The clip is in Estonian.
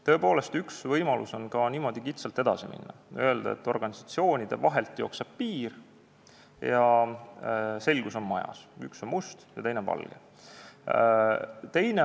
Tõepoolest, üks võimalusi on ka niimoodi kitsalt edasi minna, öelda, et organisatsioonide vahelt jookseb piir ja selgus on majas, üks on must ja teine on valge.